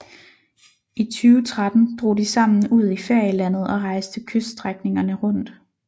I 2013 drog de sammen ud i ferielandet og rejste kyststrækningerne rundt